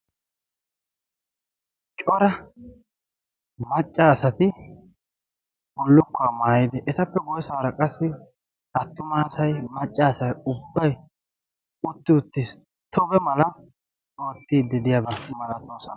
cora maccaasati bullukkuwaa maayidi etappe guyyesaara qassi attumaasay maccaasai ubbay utti utti tobe mala oottiiddi diyaabaa malatoosona